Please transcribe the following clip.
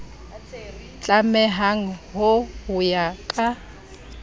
tlamehang ho ho ya ka